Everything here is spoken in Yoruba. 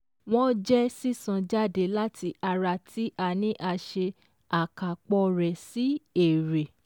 wọ́n jẹ́ sísan jáde láti ara tí a ní a ṣe àkàpọ̀ rẹ̀ sí èrè